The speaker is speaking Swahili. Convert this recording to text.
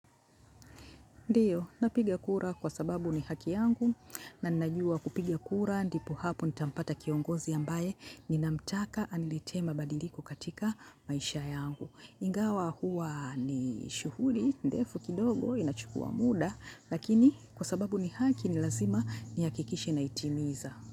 Ndio, napiga kura kwa sababu ni haki yangu na ninajua kupigia kura ndipo hapo nitampata kiongozi ambaye ninamtaka anilitee mabadiliko katika maisha yangu. Ingawa huwa ni shughuli ndefu kidogo inachukua muda, lakini kwa sababu ni haki ni lazima nihakikishe naitimiza.